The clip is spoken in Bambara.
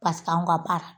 Paseke anw ka baara